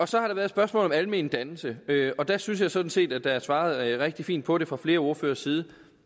så har der været spørgsmål om almen dannelse og der synes jeg sådan set at der er svaret rigtig fint på det fra flere ordføreres side